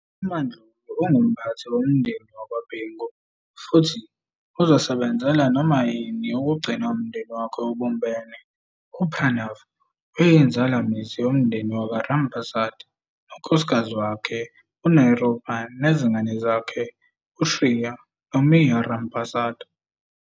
UMaNdlovu ungumphathi womndeni wakwaBhengu futhi uzosebenzela noma yini ukugcina umndeni wakhe ubumbene. UPranav uyinzalamizi yomndeni wakwaRampersad nonkosikazi wakhe, uNirupa nezingane zakhe uShria noMira Rampersad.